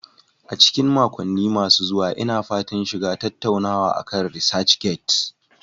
A cikin makonni masu zuwa, Ina fatan shiga tattaunawa akan ResearchGate.